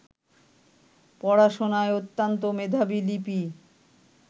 পড়াশোনায় অত্যন্ত মেধাবী লিপি